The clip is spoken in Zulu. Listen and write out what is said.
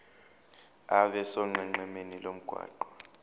abe sonqenqemeni lomgwaqo